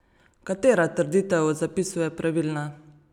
Katera trditev o zapisu je pravilna?